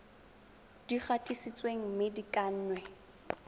di gatisitsweng mme di kannwe